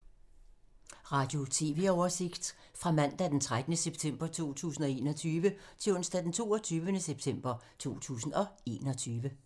Radio/TV oversigt fra mandag d. 13. september 2021 til onsdag d. 22. september 2021